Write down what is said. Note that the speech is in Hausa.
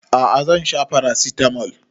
A'a zan sha paracetamol